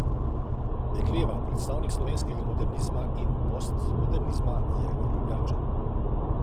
Dekleva, predstavnik slovenskega modernizma in postmodernizma, je Ljubljančan.